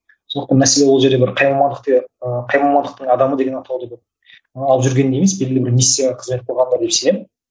сондықтан мәселе ол жерде бір қай мамандық те ы қай мамандықтың адамы деген атауды бір алып жүргенде емес белгілі бір миссияға қызмет қылғанда деп сенемін